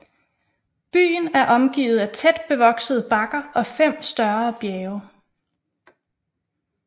Byen er omgivet af tæt bevoksede bakker og fem større bjerge